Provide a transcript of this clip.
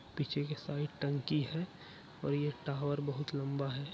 पीछे की साइड टंकी है और ये टावर बहुत लम्बा है।